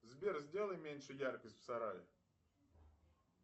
сбер сделай меньше яркость в сарае